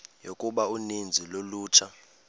yokuba uninzi lolutsha